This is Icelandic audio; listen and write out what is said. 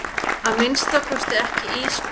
Að minnsta kosti ekki Ísbjörg.